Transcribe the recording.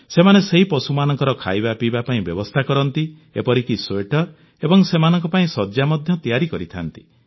ସେମାନେ ସେହି ପଶୁମାନଙ୍କର ଖାଇବା ପିଇବା ପାଇଁ ବ୍ୟବସ୍ଥା କରନ୍ତି ଏପରିକି ସ୍ୱେଟର ଏବଂ ସେମାନଙ୍କ ପାଇଁ ଶଯ୍ୟା ମଧ୍ୟ ତିଆରି କରିଥାନ୍ତି